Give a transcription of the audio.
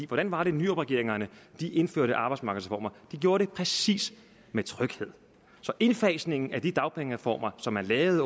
hvordan var det nyrupregeringerne indførte arbejdsmarkedsreformer de gjorde det præcis med tryghed så indfasningen af de dagpengereformer som man lavede